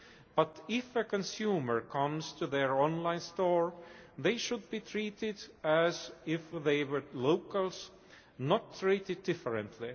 But if a consumer comes to their online store, they should be treated as if they were locals not treated differently.